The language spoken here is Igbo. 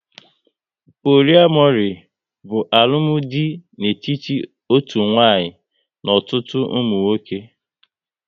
Poliamori bụ alụmdi dị n'etiti otu nwanyị n'ọtụtụ ụmụ nwoke